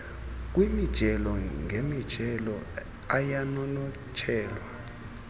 kwimijelo ngemijelo ayanonotshelwa